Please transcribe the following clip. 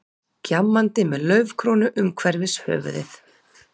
Gjammandi með laufkrónu umhverfis höfuðið.